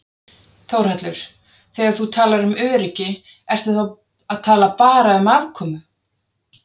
Þórhallur: Þegar þú talar um öryggi ertu þá að tala bara um afkomu?